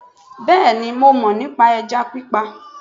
Bẹ́ẹ̀ni mo mọ̀ nípa ẹja pípa